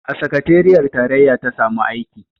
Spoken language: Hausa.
A sakateriyar tarayya ta samu aiki